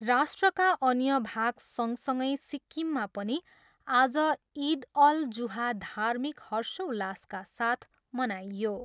राष्ट्रका अन्य भाग सँगसँगै सिक्किममा पनि आज इद अल जुहा धार्मिक हर्षोल्लासका साथ मनाइयो।